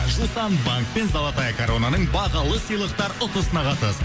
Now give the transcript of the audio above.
жусан банк пен золотая коронаның бағалы сыйлықтар ұтысына қатыс